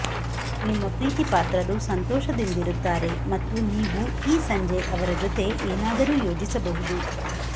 ನಿಮ್ಮಪ್ರೀತಿಪಾತ್ರರು ಸಂತೋಷದಿಂದಿರುತ್ತಾರೆ ಮತ್ತು ನೀವು ಈ ಸಂಜೆ ಅವರ ಜೊತೆ ಏನಾದರೂ ಯೋಜಿಸಬಹುದು